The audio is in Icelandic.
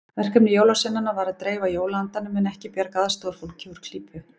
Verkefni jólasveinanna var að dreifa jólaandanum en ekki bjarga aðstoðarfólki úr klípu.